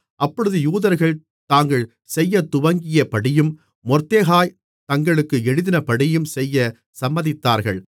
அப்பொழுது யூதர்கள் தாங்கள் செய்யத்துவங்கியபடியும் மொர்தெகாய் தங்களுக்கு எழுதினபடியும் செய்யச் சம்மதித்தார்கள்